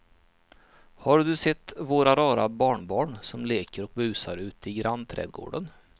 Har du sett våra rara barnbarn som leker och busar ute i grannträdgården!